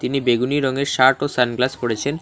একটি বেগুনি রঙের শার্ট ও সানগ্লাস পড়েছেন।